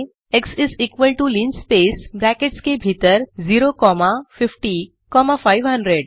x is equal to linspace brackets के भीतर 0 comma 50500